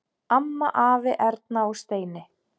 Amma, afi, Erna og Steini.